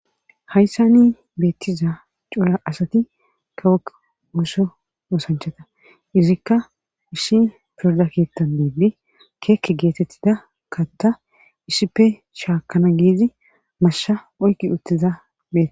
hayssa ni beettiza cura asati kawokk ooso oosanchata izikka ishi pirodakettan diibdi keekke geetettida katta isippe shaakana giizi mashsha oyki uttiza beee